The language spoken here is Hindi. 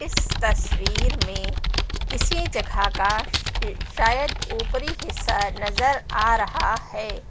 इस तस्वीर में किसी जगह का शायद ऊपरी हिस्सा नजर आ रहा है।